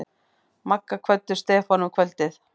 Magga kvöddu Stefán um kvöldið.